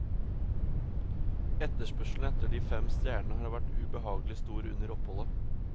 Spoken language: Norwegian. Etterspørselen etter de fem stjernene har vært ubehagelig stor under oppholdet.